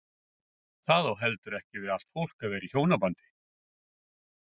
Það á heldur ekki við allt fólk að vera í hjónabandi.